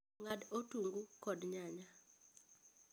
Ng'ad otungu kod nyanya